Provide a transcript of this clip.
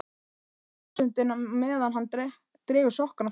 hugsar forsetinn á meðan hann dregur sokkana á fætur sér.